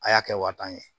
A y'a kɛ wa tan ye